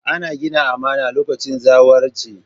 Ana gina amana lokacin zawarci.